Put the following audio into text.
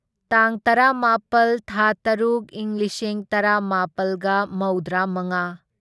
ꯇꯥꯡ ꯇꯔꯥꯃꯥꯄꯜ ꯊꯥ ꯇꯔꯨꯛ ꯢꯪ ꯂꯤꯁꯤꯡ ꯇꯔꯥꯃꯥꯄꯜꯒ ꯃꯧꯗ꯭ꯔꯥꯃꯉꯥ